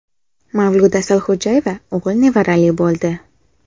Mavluda Asalxo‘jayeva o‘g‘il nevarali bo‘ldi.